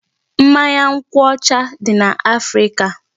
Mmanya nkwụ ọcha dị n'Africa.